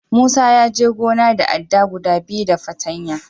Musa ya je gona da adda guda biyu da fartanya.